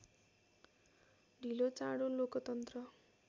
ढिलोचाँडो लोकतन्त्र